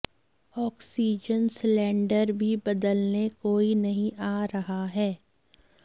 oxygen cylinder भी बदलने कोई नहीं आ रहा है